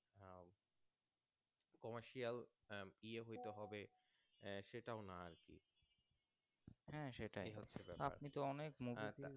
Commercial আহ ইয়ে হয়তো হবে সেটাও না আরকি